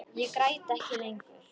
Ég græt ekki lengur.